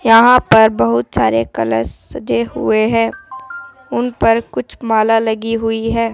यहां पर बहुत सारे कलश सजे हुए हैं उन पर कुछ माला लगी हुई है।